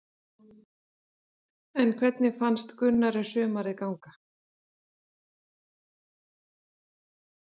En hvernig fannst Gunnari sumarið ganga?